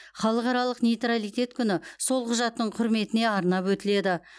халықаралық нейтралитет күні сол құжаттың құрметіне арнап өтіледі